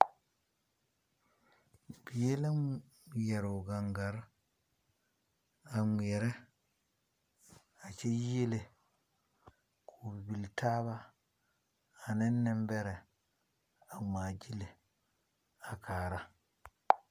Bie la ŋmɛr o gaŋare. A ŋmɛrɛ a kyɛ yiele k'o bibil taaba ane nebɛrɛ a ŋmaa gyili a kaara.